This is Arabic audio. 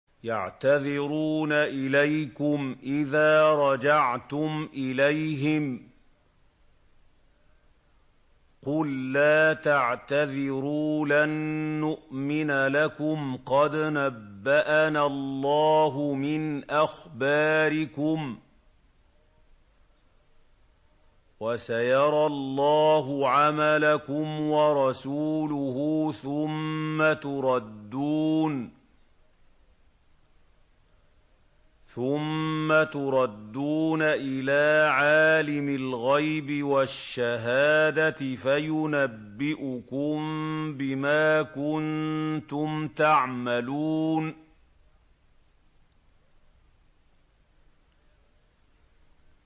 يَعْتَذِرُونَ إِلَيْكُمْ إِذَا رَجَعْتُمْ إِلَيْهِمْ ۚ قُل لَّا تَعْتَذِرُوا لَن نُّؤْمِنَ لَكُمْ قَدْ نَبَّأَنَا اللَّهُ مِنْ أَخْبَارِكُمْ ۚ وَسَيَرَى اللَّهُ عَمَلَكُمْ وَرَسُولُهُ ثُمَّ تُرَدُّونَ إِلَىٰ عَالِمِ الْغَيْبِ وَالشَّهَادَةِ فَيُنَبِّئُكُم بِمَا كُنتُمْ تَعْمَلُونَ